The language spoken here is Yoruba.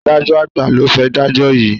Adájo àgbà lo fé dajọ yí.